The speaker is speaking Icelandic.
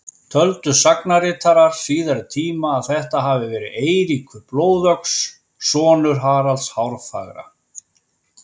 Töldu sagnaritarar síðari tíma að þetta hafi verið Eiríkur blóðöx, sonur Haralds hárfagra.